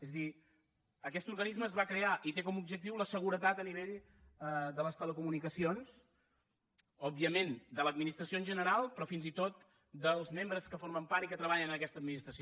és a dir aquest organisme es va crear i té com a objectiu la seguretat a nivell de les telecomunicacions òbviament de l’administració en general però fins i tot dels membres que formen part i que treballen en aquesta administració